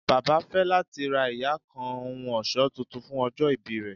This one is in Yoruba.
Baba fẹ lati ra iya kan ohun ọṣọ Titun fun ojo ibi rẹ